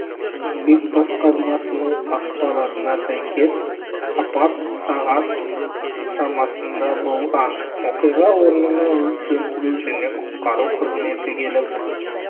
еңбек басқармасының ақпаратына сәйкес апат сағат шамасында болған оқиға орнына өрт сөндіру және құтқару қызметі келіп